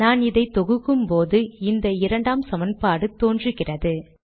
நான் இதை தொகுக்கும்போது இந்த இரண்டாம் சமன்பாடு தோன்றுகிறது